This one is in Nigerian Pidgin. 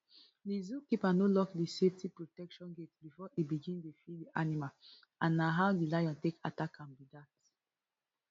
di zookeeper no lock di safety protection gate bifor e begin dey feed di animal and na how di lion take attack am be dat